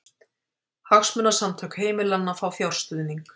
Hagsmunasamtök heimilanna fá fjárstuðning